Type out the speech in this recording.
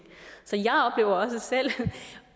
så